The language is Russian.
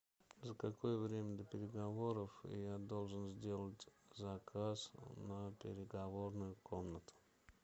за какое время до переговоров я должен сделать заказ на переговорную комнату